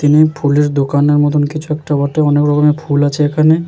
তিনি ফুলের দোকানের মতোন কিছু একটা করতে অনেক রকমের ফুল আছে এখানে ।